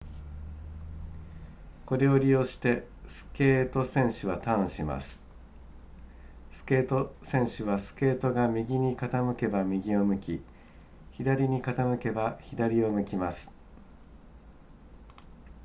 これを利用してスケート選手はターンしますスケート選手はスケートが右に傾けば右を向き左に傾けば左を向きます